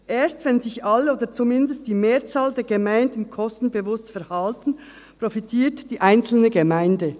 Erst wenn sich alle oder zumindest die Mehrzahl der Gemeinden kostenbewusst verhalten, profitiert die einzelne Gemeinde.